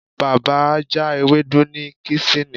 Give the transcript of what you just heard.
Baba ja ewdu ni kesini